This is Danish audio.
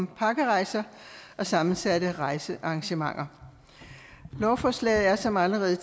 om pakkerejser og sammensatte rejsearrangementer lovforslaget er som allerede